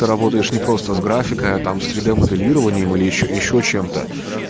работаешь не просто с графикой а там с три д моделированием или ещё чем-то